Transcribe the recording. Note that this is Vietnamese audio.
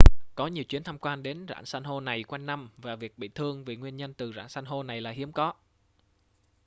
có nhiều chuyến tham quan đến rạn san hô này quanh năm và việc bị thương vì nguyên nhân từ rạn san hô này là hiếm có